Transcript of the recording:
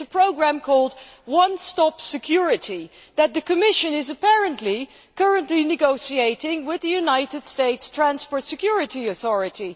It is a programme called One Stop Security' which the Commission is apparently currently negotiating with the United States Transport Security Authority.